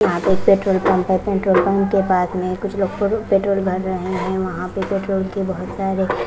यहाँ पे एक पेट्रोल पंप है पेट्रोल पंप के पास में कुछ लोग प पेट्रोल भर रहे हैं वहाँ पे पेट्रोल के बहुत सारे--